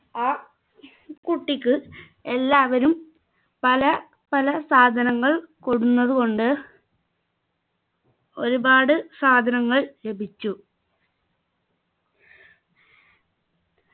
ആ കുട്ടിക്ക് എല്ലാവരും പല പല സാധങ്ങൾ കൊണ്ടന്നതു കൊണ്ട് ഒരുപാട് സാധനങ്ങൾ ലഭിച്ചു